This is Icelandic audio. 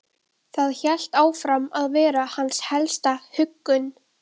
Það hélt áfram að vera hans helsta huggun.